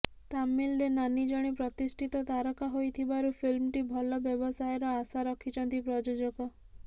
ତାମିଲରେ ନାନି ଜଣେ ପ୍ରତିଷ୍ଠିତ ତାରକା ହୋଇଥିବାରୁ ଫିଲ୍ମଟି ଭଲ ବ୍ୟବସାୟର ଆଶା ରଖିଛନ୍ତି ପ୍ରଯୋଜକ